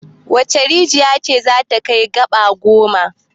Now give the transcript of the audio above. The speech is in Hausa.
Wace rijiya ce za ta kai gaba goma?